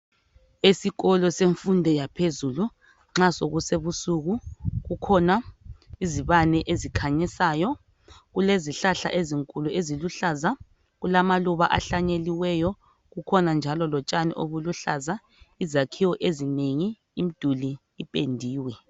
Esikolo semfundo yaphezulu nxa so kusebusuku kukhona izibane ezikhanyisayo, kulezi hlahla ezinkulu eziluhlaza, kulama luba ahlanyeliweyo, kukhona njalo lotshani obuluhlaza, izakhiwo ezinengi imiduli ipendiwe.